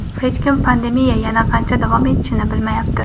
Hech kim pandemiya yana qancha davom etishini bilmayapti.